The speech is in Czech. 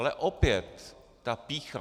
Ale opět, ta pýcha!